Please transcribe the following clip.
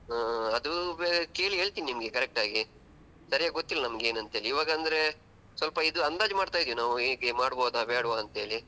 ಅದು ಕೇಳಿ ಹೇಳ್ತಿನೆ ನಿಮ್ಗೆ correct ಆಗಿ ಸರಿಯಾಗಿ ಗೊತ್ತಿಲ್ಲಾ ನಮ್ಗೆ ಏನಂತ ಇವಾಗ ಅಂದ್ರೆ ಸ್ವಲ್ಪ ಇದು ಅಂದಾಜ್ ಮಾಡ್ತಾಯಿದೀವಿ ನಾವು ಹೇಗೆ ಮಾಡ್ಬಹುದಾ ಬೇಡ್ವಾ ಅಂತ ಹೇಳಿ.